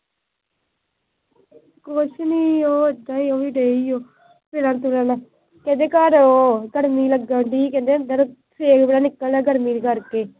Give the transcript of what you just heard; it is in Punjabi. ਕੁੱਛ ਨੀ। ਉਹ ਵੀ ਐਦਾ ਈ ਗਏ ਏ ਫਿਰਨ ਤੁਰਨ। ਕਹਿੰਦੇ ਘਰ ਗਰਮੀ ਲੱਗਣ ਦਈ। ਕਹਿੰਦੇ ਅੰਦਰ ਸੇਕ ਜਾ ਨਿਕਲਦਾ ਗਰਮੀ ਕਰਕੇ।